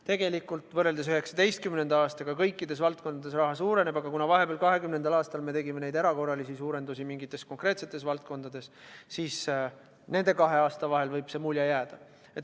Tegelikult on nii, et võrreldes 2019. aastaga kõikides valdkondades raha hulk suureneb, aga kuna me vahepeal, 2020. aastal tegime erakorralisi suurendamisi mingites konkreetsetes valdkondades, siis nende kahe aasta vahel võib selline mulje jääda.